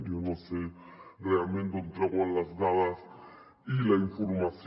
jo no sé realment d’on treuen les dades i la informació